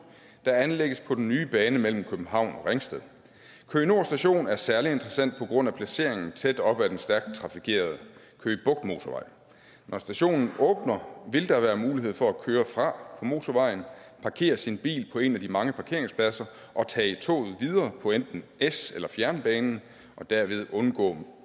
der anlægges på den nye bane mellem københavn og ringsted køge nord station er særlig interessant på grund af placeringen tæt op af den stærkt trafikerede køge bugt motorvejen når stationen åbner vil der være mulighed for at køre fra motorvejen parkere sin bil på en af de mange parkeringspladser og tage toget videre på enten s eller fjernbanen og derved undgå